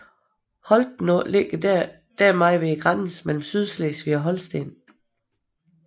Holtenå ligger dermed ved grænsen mellem Sydslesvig og Holsten